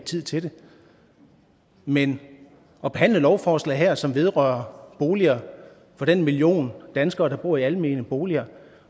tid til det men at behandle lovforslag her som vedrører boliger for den million danskere der bor i almene boliger